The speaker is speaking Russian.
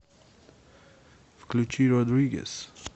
включи родригез